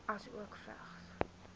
asook vigs